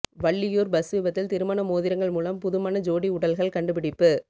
Valliyur bus விபத்தில் திருமண மோதிரங்கள் மூலம் புதுமண ஜோடி உடல்கள் கண்டுபிடிப்பு